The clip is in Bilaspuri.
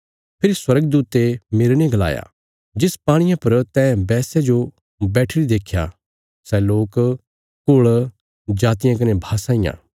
फेरी स्वर्गदूते मेरने गलाया जिस पाणिये पर तैं वैश्या जो बैठीरी देख्या सै लोक कुल़ जातियां कने भाषां इ